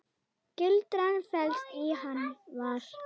Gildran felst í Hann var.